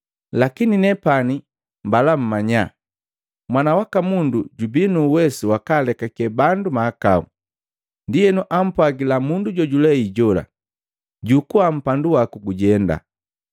Lakini, nepani mbala mmanya Mwana waka Mundu jubii nu uwesu wakalekake bandu mahakau.” Ndienu ampwagila mundu jojulei jola, “Jukua mpandu waku gujenda.”